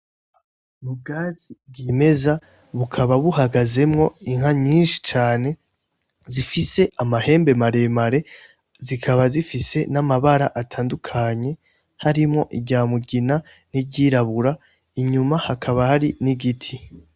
Ubwatsi bwimeza bukaba buhagazemwo inka nyinshi cane zifise amahembe maremare , zikaba zifise n’amabara atandukanye harimwo irya mugina n’iryirabura , inyuma hakaba hari n’igiti.